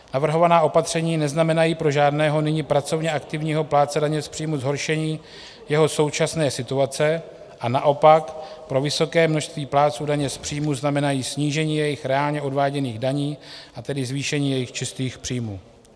Navrhovaná opatření neznamenají pro žádného nyní pracovně aktivního plátce daně z příjmů zhoršení jeho současné situace a naopak pro vysoké množství plátců daně z příjmů znamenají snížení jejich reálně odváděných daní, a tedy zvýšení jejich čistých příjmů.